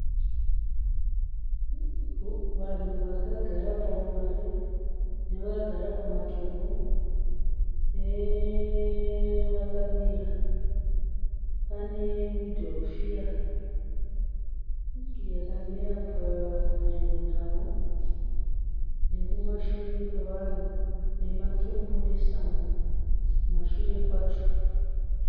Vanhu vakagara parivare ne vakagara pamadombo nevakamira panemudhorofiya vakamera padyo nawo nekumashure kwevanhu nematombo nesango kumashure kwacho